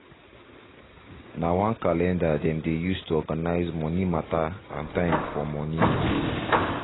nah one calendar them dey use to organize moni matter and time for moni